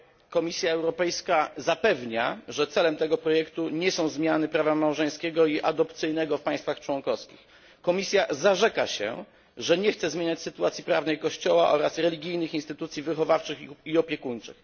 Komisja Europejska zapewnia, że celem tego projektu nie są zmiany prawa małżeńskiego i adopcyjnego w państwach członkowskich. Komisja zarzeka się, że nie chce zmieniać sytuacji prawnej Kościoła oraz religijnych instytucji wychowawczych i opiekuńczych.